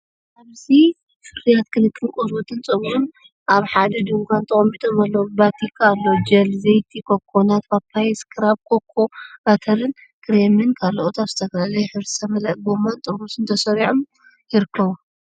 ኣብዚ ፍርያት ክንክን ቆርበትን ጸጉርን ኣብ ሓደ ድኳን ተቐሚጦም ኣለዉ። ቫቲካ፡ ኣሎ ጀል፡ ዘይቲ ኮኮናት፡ ፓፓያ ስክራብ፡ ኮኮ ባተር ክሬምን ካልኦትን ኣብ ዝተፈላለየ ሕብሪ ዝተመልአ ጎማን ጥርሙዝን ተሰሪዖም ይርከቡ።